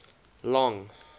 long